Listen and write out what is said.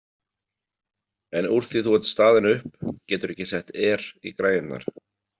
En úr því þú ert staðin upp, geturðu ekki sett Air í græjurnar?